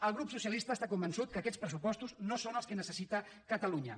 el grup socialista està convençut que aquests pressupostos no són els que necessita catalunya